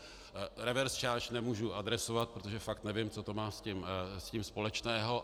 Reverse charge nemůžu adresovat, protože fakt nevím, co to má s tím společného.